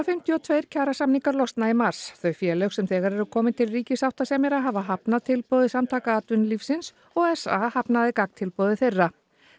fimmtíu og tveir kjarasamningar losna í mars þau félög sem þegar eru komin til ríkissáttasemjara hafa hafnað tilboði Samtaka atvinnulífsins og s a hafnaði gagntilboði þeirra